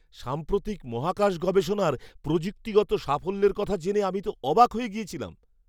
সাম্প্রতিক মহাকাশ গবেষণার প্রযুক্তিগত সাফল্যের কথা জেনে আমি তো অবাক হয়ে গিয়েছিলাম!